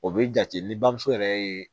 O be jate ni bamuso yɛrɛ ye